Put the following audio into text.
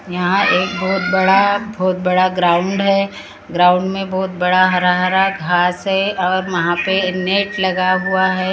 यहां एक बहोत बड़ा बहोत बड़ा ग्राउंड है ग्राउंड में बहुत बड़ा हरा हरा घास है और वहां पे नेट लगा हुआ है।